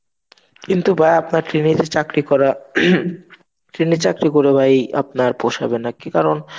কিন্তু ভাই আপনার Train চাকরি যে করা Train এ চাকরি করে ভাই আপনার পোষাবে না. কি কারণ